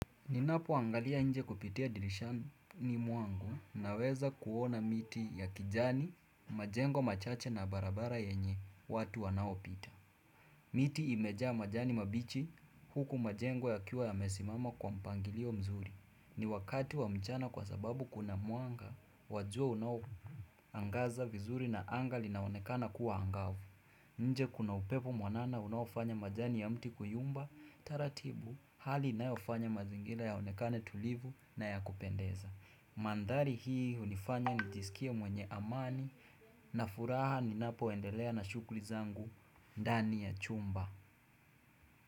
Ninapoangalia nje kupitia dirishani mwangu naweza kuona miti ya kijani, majengo machache na barabara yenye watu wanaopita. Miti imejaa majani mabichi huku majengo yakiwa yamesimama kwa mpangilio mzuri. Ni wakati wa mchana kwa sababu kuna mwanga, wa jua unaoangaza vizuri na anga linaonekana kuwa angavu. Nje kuna upepo mwanana unaofanya majani ya mti kuyumba taratibu. Hali inayofanya mazingira yaonekane tulivu na ya kupendeza Mandhari hii hunifanya nijisikie mwenye amani na furaha ninapoendelea na shughuli zangu ndani ya chumba.